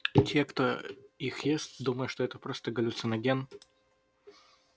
те кто их ест думая что это просто галлюциноген